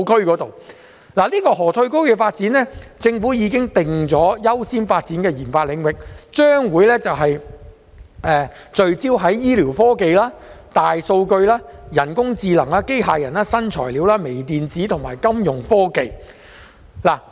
就着這個河套區的發展，政府已經把它訂為優先發展的研發領域，將會聚焦在醫療科技、大數據、人工智能、機械人、新材料、微電子及金融科技。